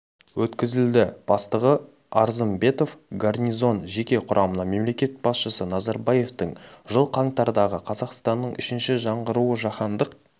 өткізілді бастығы арзымбетов гарнизон жеке құрамына мемлекет басшысы назарбаевтың жыл қаңтардағы қазақстанның үшінші жаңғыруы жаһандық